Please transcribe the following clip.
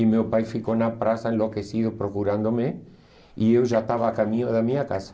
E meu pai ficou na praça enlouquecido procurando-me e eu já estava a caminho da minha casa.